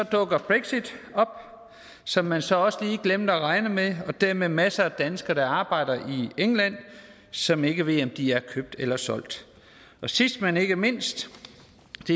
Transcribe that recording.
dukker brexit op som man så også lige glemte at regne med og dermed masser af danskere der arbejder i england og som ikke ved om de er købt eller solgt og sidst men ikke mindst